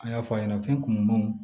An y'a fɔ a ɲɛna fɛn kunumanw